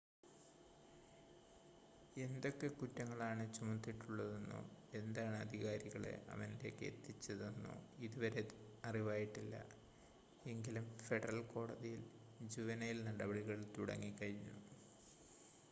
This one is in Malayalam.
എന്തൊക്കെ കുറ്റങ്ങൾ ആണ് ചുമത്തിയിട്ടുള്ളതെന്നോ എന്താണ് അധികാരികളെ അവനിലേക്ക് എത്തിച്ചതെന്നോ ഇതുവരെ അറിവായിട്ടില്ല എങ്കിലും ഫെഡറൽ കോടതിയിൽ ജുവൈനൽ നടപടികൾ തുടങ്ങി കഴിഞ്ഞു